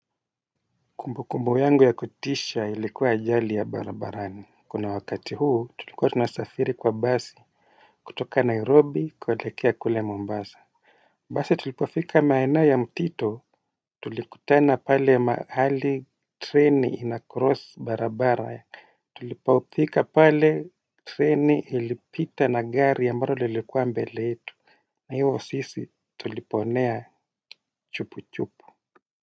Kumbukumbu yangu ya kutisha ilikuwa ajali ya barabarani. Kuna wakati huu tulikuwa tunasafiri kwa basi. Kutoka Nairobi kuelekea kule Mombasa. Basi tulipofika maena ya mtito tulikutana pale mahali treni ina cross barabara. Tulipofika pale treni ilipita na gari ya ambalo ilikuwa mbele itu. Na hivo sisi tuliponea chupu chupu.